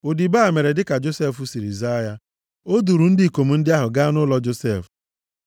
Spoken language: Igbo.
Odibo a mere dịka Josef ziri ya. O duuru ndị ikom ndị ahụ gaa nʼụlọ Josef.